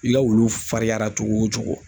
I ka wulu farinyara cogo o cogo